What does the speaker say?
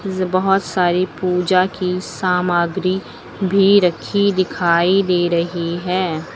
बहोत सारी पूजा की सामग्री भी रखी दिखाई दे रही है।